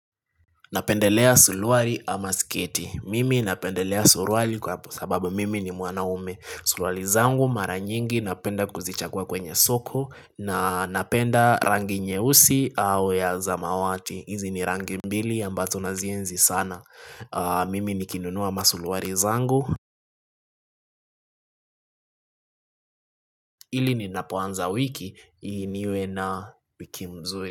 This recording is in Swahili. Ninapendelea suluari ama sketi. Mimi ninapendelea suluari kwa sababu mimi ni mwanaume. Suluari zangu mara nyingi napenda kuzichagua kwenye soko na ninapenda rangi nyeusi au ya zamawati. Hizi ni rangi mbili ambazo nazienzi sana. Mimi nikinunua ma suluari zangu. Hili ni napoanza wiki niwe na wiki nzuri.